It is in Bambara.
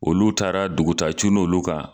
Olu taara dugutaa cunna olu kan